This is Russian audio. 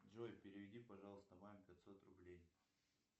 джой переведи пожалуйста маме пятьсот рублей